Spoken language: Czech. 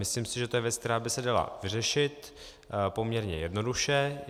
Myslím si, že to je věc, která by se dala vyřešit poměrně jednoduše.